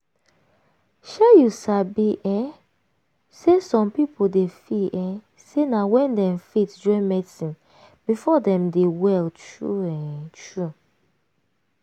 shey you sabi um say some pipo dey feel um say na wen dem faith join medicine before dem dey well true um true.